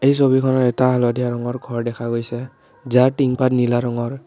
এই ছবিখনত এটা হালধীয়া ৰঙৰ ঘৰ দেখা গৈছে যাৰ টিংপাত নীলা ৰঙৰ।